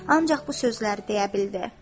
Ancaq bu sözləri deyə bildi: